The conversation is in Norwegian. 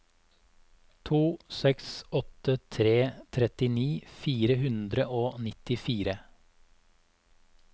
to seks åtte tre trettini fire hundre og nittifire